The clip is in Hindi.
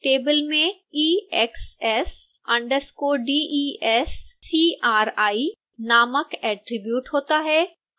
table में exs_descri नामक attribute होता है